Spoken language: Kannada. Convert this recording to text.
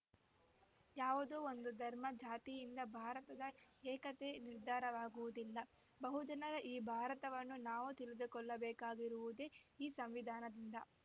ಯಾವುದೋ ಒಂದು ಧರ್ಮ ಜಾತಿಯಿಂದ ಭಾರತದ ಏಕತೆ ನಿರ್ಧಾರವಾಗುವುದಿಲ್ಲ ಬಹುಜನರ ಈ ಭಾರತವನ್ನು ನಾವು ತಿಳಿದುಕೊಳ್ಳಬೇಕಾಗಿರುವುದೇ ಈ ಸಂವಿಧಾನದಿಂದ